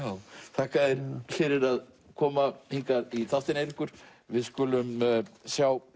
þakka þér fyrir að koma hingað í þáttinn Eiríkur við skulum sjá